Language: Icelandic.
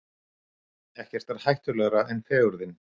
Ekkert er hættulegra en fegurðin.